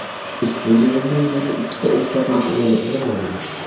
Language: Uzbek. Ushbu yig‘indan yana ikkita o‘rtoqlik o‘yini o‘rin olgan.